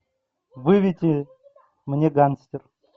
выведи мне гангстер